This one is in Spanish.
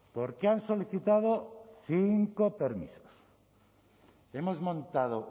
porque han solicitado cinco permisos hemos montado